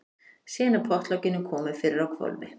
Síðan er pottlokinu komið fyrir á hvolfi.